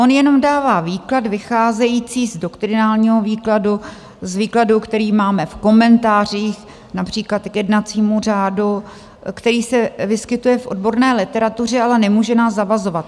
On jenom dává výklad vycházející z doktrinálního výkladu, z výkladu, který máme v komentářích, například k jednacímu řádu, který se vyskytuje v odborné literatuře, ale nemůže nás zavazovat.